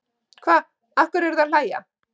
Hva, af hverju eruð þið að hlæja.